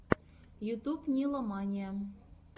ютуб нила мания